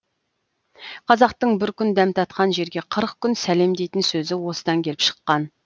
қазақтың бір күн дәм татқан жерге қырық күн сәлем дейтін сөзі осыдан келіп шыққан